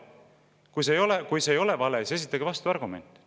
Kui see ei ole vale, siis esitage vastuargument.